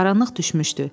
Qaranlıq düşmüşdü.